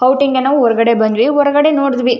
Outing ಗೆ ನಾವು ಹೊರಗಡೆ ಬಂದ್ವಿ ಹೊರಗಡೆ ನೋಡಿದ್ವಿ.